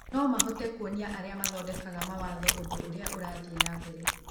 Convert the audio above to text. No mahote kuonia arĩa mathondekaga mawatho ũndũ ũrĩa ũrathiĩ na mbere.